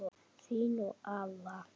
Þín og afa.